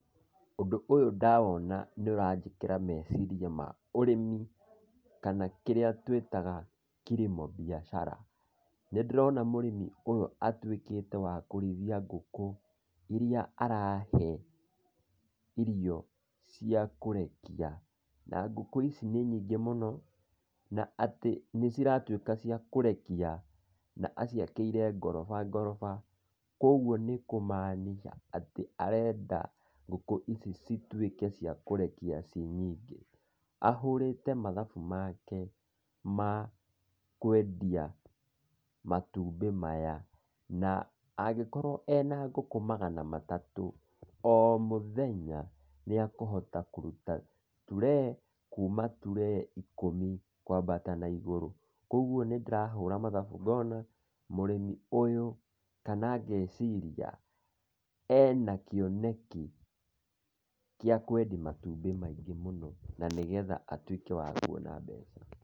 Ũndũ ũyũ ndawona, nĩũranjĩkĩra meciria ma ũrĩmi, kana kĩrĩa tũĩtaga kilimo biashara. Nĩndĩrona mũrĩmi ũyũ atuĩkĩte wa kũrĩithia ngũkũ, iria arahe, irio, ciakũrekia. Na ngũkũ ici nĩ nyingĩ mũno, na atĩ nĩciratuĩka cia kũrekia, na atĩ aciakĩire ngorofa ngorofa, kuoguo nĩkũmaanica atĩ arenda, ngũkũ ici cituĩke cia kũrekia ciĩ nyingĩ. Ahũrĩte mathabu make ma, kwendia, matumbi maya, na, angĩkoríũo ena ngũkũ magana matatũ, o mũthenya, nĩekũhota kũruta turee, kuma turee ikũmi kwambata na igũrũ. Kuoguo nĩndĩrahũra mathabu ngona, mũrĩmi ũyũ, kana ngeciria, ena kĩoneki, kia kwendia matumbĩ maingĩ mũno, na nĩgetha atuĩke wa kuona mbeca.